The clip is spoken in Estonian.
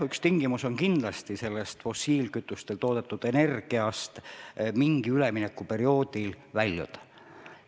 Üks tingimus on kindlasti see, et fossiilkütustest toodetud energiast tuleb mingil üleminekuperioodil väljuda.